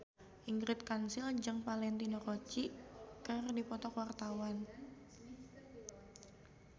Ingrid Kansil jeung Valentino Rossi keur dipoto ku wartawan